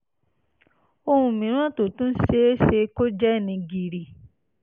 ohun mìíràn tó tún ṣe é ṣe kó jẹ́ ni gìrì